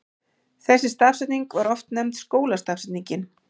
Þessi stafsetning var oft nefnd skólastafsetningin.